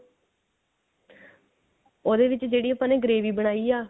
ਉਹਦੇ ਵਿੱਚ ਜਿਹੜੀ ਆਪਾਂ ਨੇ gravy ਬਣਾਈ ਐ